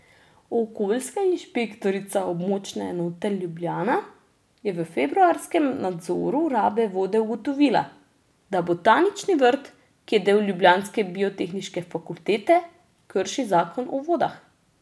Okoljska inšpektorica območne enote Ljubljana je v februarskem nadzoru rabe vode ugotovila, da botanični vrt, ki je del ljubljanske biotehniške fakultete, krši zakon o vodah.